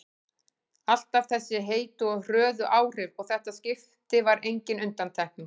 Alltaf þessi heitu og hröðu áhrif og þetta skipti var engin undantekning.